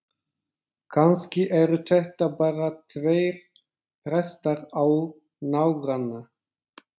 Kannski eru þetta bara tveir prestar á nágranna